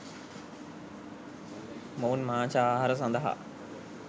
මොවුන් මාංශ ආහාර සඳහා